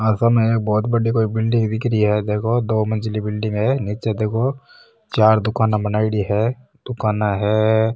आ साम एक बहोत बड़ी बिलडिंग दिख रही है देखो दो मंजिली बिलडिंग है चार दुकाना बनाईडी है दुकाना है।